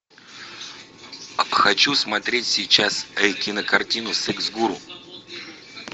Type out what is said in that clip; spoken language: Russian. хочу смотреть сейчас кинокартину секс гуру